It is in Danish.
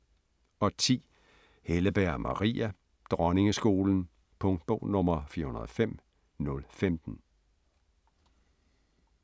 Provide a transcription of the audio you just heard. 10. Helleberg, Maria: Dronningeskolen Punktbog 405015